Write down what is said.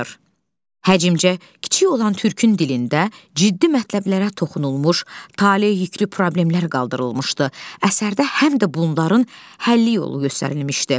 Həmcə kiçik olan Türkün dilində ciddi mətləblərə toxunulmuş, taleyüklü problemlər qaldırılmışdı, əsərdə həm də bunların həlli yolu göstərilmişdi.